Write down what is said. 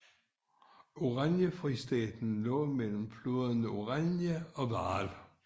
Oranjefristaten lå mellem floderne Oranje og Vaal